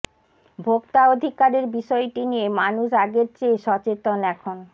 ভোক্তা অধিকারের বিষয়টি নিয়ে মানুষ আগের চেয়ে সচেতন এখন